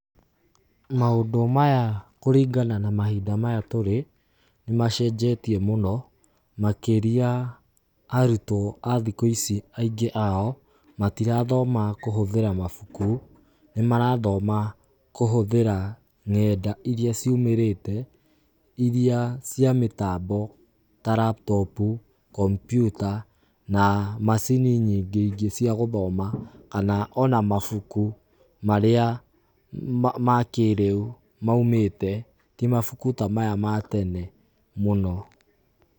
Maũndũ maya kũringana na mahinda maya tũrĩ, nĩ macenjetie mũno makĩria arutwo a thikũ ici angĩ a o, matirathoma kũhuthĩra mabuku, nĩ marathoma kũhũthĩra nenda irĩa ciumĩrĩte, irĩa cia mĩtambo ta raptopu, kompyuta na macini nyingĩ ingĩ cia gũthoma kana o na mabuku marĩa makĩrĩu maumĩte ti mabuku ta maya ma tene mũno.